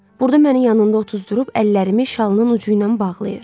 Burda məni yanında otuzdurub əllərimi şalının ucu ilə bağlayır.